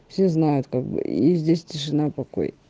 все знают как бы и здесь тишина и покой